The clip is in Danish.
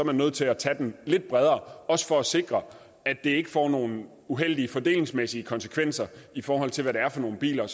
man nødt til at tage den lidt bredere også for at sikre at det ikke får nogle uheldige fordelingsmæssige konsekvenser i forhold til hvad det er for nogle biler